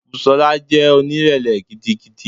Busola jẹ́ onírẹ̀lẹ̀ gidigidi.